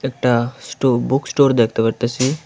একটা স্টো book store দেখতে পারতাসি।